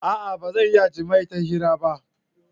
A'a! Ba zan iya yin jima'i ta hira ba.